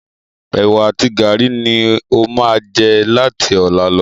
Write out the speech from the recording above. Ẹ̀wá àti gàárì ni n o máa jẹ láti ọ̀la lọ